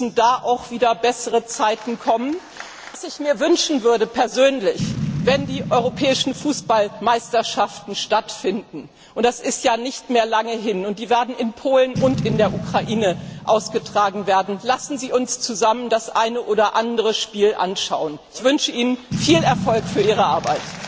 Auch dort müssen wieder bessere Zeiten kommen! Was ich mir persönlich wünschen würde Wenn die europäischen Fußballmeisterschaften stattfinden und das ist ja nicht mehr lange hin die in Polen und in der Ukraine ausgetragen werden, lassen Sie uns zusammen das eine oder andere Spiel anschauen! Ich wünsche Ihnen viel Erfolg für Ihre Arbeit!